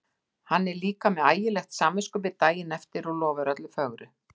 Hann er líka með ægilegt samviskubit daginn eftir og lofar öllu fögru.